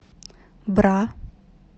бра